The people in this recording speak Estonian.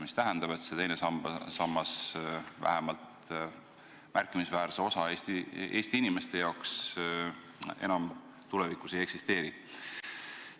See tähendab seda, et teine sammas märkimisväärse osa Eesti inimeste jaoks tulevikus enam ei eksisteeri.